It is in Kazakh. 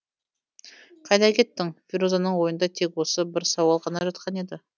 қайда кеттің ферузаның ойында тек осы бір сауал ғана жатқан еді